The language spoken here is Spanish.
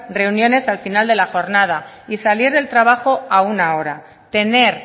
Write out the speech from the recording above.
reuniones al final de la jornada y salir del trabajo a una hora tener